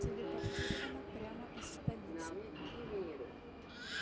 телепортировано прямо из столицы